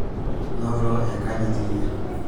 noto enkanyit iyie